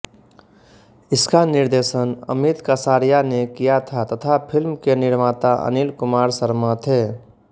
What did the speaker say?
इसका निर्देशन अमित कसारिया ने किया था तथा फ़िल्म के निर्माता अनिल कुमार शर्मा थे